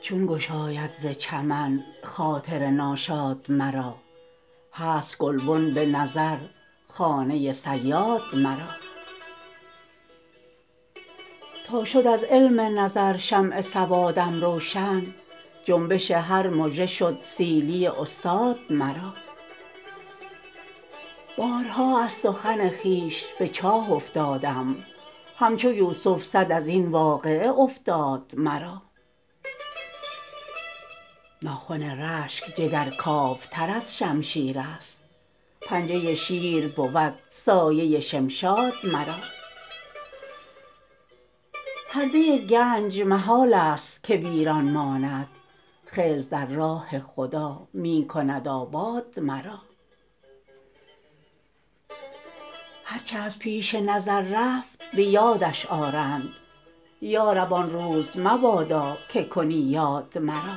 چون گشاید ز چمن خاطر ناشاد مرا هست گلبن به نظر خانه صیاد مرا تا شد از علم نظر شمع سوادم روشن جنبش هر مژه شد سیلی استاد مرا بارها از سخن خویش به چاه افتادم همچو یوسف صد ازین واقعه افتاد مرا ناخن رشک جگر کاوتر از شمشیرست پنجه شیر بود سایه شمشاد مرا پرده گنج محال است که ویران ماند خضر در راه خدا می کند آباد مرا هر چه از پیش نظر رفت به یادش آرند یارب آن روز مبادا که کنی یاد مرا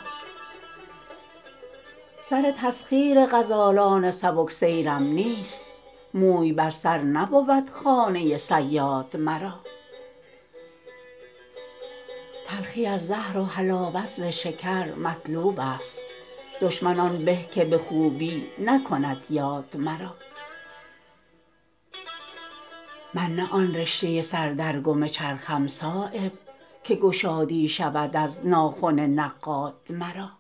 سر تسخیر غزالان سبکسیرم نیست موی بر سر نبود خانه صیاد مرا تلخی از زهر و حلاوت ز شکر مطلوب است دشمن آن به که به خوبی نکند یاد مرا من نه آن رشته سر در گم چرخم صایب که گشادی شود از ناخن نقاد مرا